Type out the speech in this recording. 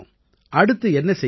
அடுத்து என்ன செய்ய இருக்கீங்க